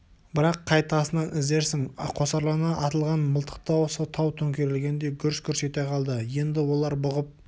бірақ қай тасынан іздерсің қосарлана атылған мылтық даусы тау төңкерілгендей гүрс-гүрс ете қалды енді олар бұғып